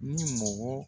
Ni mɔgɔ